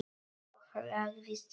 Og lagðist í rúmið.